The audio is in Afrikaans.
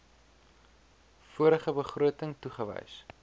vorige begroting toegewys